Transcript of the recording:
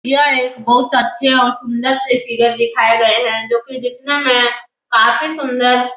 यह एक बहोत अच्छे और सुंदर से फिगर दिखाये गए हैं जो की दिखने में काफी सूंदर --